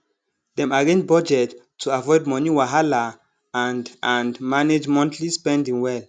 dem arrange budget to avoid money wahala and and manage monthly spending well